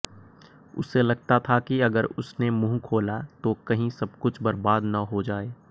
उसे लगता था कि अगर उसने मुँह खोला तो कहीं सबकुछ बर्बाद न हो जाए